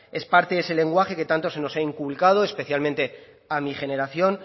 es parte de ese lenguaje que tanto se nos ha inculcado especialmente a mi generación